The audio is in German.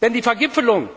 Denn die Vergipfelung,